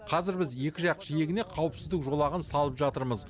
қазір біз екі жақ жиегіне қауіпсіздік жолағын салып жатырмыз